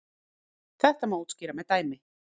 Þetta má útskýra með dæmi.